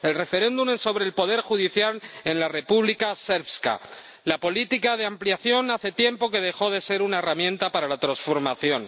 El referéndum es sobre el poder judicial en la República Srpska. La política de ampliación hace tiempo que dejó de ser una herramienta para la transformación.